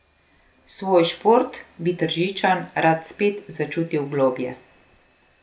Svoj šport bi Tržičan rad spet začutil globlje.